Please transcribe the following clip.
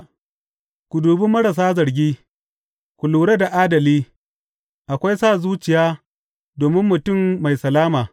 Ka dubi marasa zargi, ka lura da adali; akwai sa zuciya domin mutum mai salama.